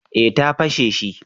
Eh ta fashe shi